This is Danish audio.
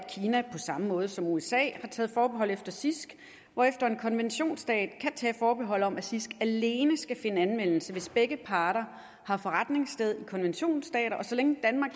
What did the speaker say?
kina på samme måde som usa har taget forbehold efter cisg hvorefter en konventionsstat kan tage forbehold om at cisg alene skal finde anvendelse hvis begge parter har forretningssted i konventionsstater og så længe danmark